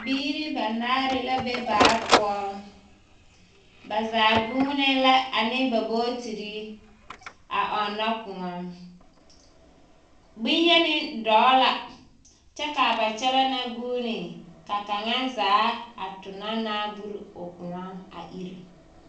Biiri banaare la be baa poɔ. Ba zaa gũũnee la ane ba bootiri a ɔnnɔ kõɔ. Boŋyeni dɔɔ la kyɛ ba kyɛlɛɛ na gũũni. Ka kaŋa zaa a tona naa buri o kõɔ a iri.